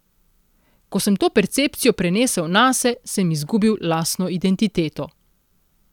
Ko sem to percepcijo prenesel nase, sem izgubil lastno identiteto.